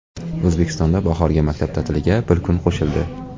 O‘zbekistonda bahorgi maktab ta’tiliga bir kun qo‘shildi.